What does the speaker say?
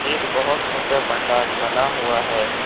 एक बहुत ऊंचा पंडाल बना हुआ है।